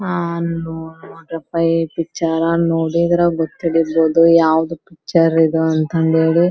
ಆಹ್ಹ್ ಒಂದು motor pipe picture ನೋಡಿದ್ರೆ ಗುರ್ತ್ ಹಿಡೀಬಹುದು ಯಾವ್ದು ಪಿಕ್ಚರ್ ಇದು ಅಂತ ಅಂದೇಳಿ --